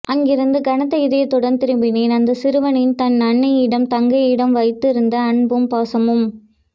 அங்கிருத்து கனத்த இதயத்துடன் திரும்பினேன் அந்த சிறுவனின் தன் அன்னையிடமும் தங்கையிடம் வைத்து இருந்த அன்பும் பாசமும்